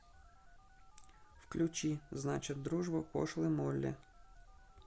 включи значит дружба пошлой молли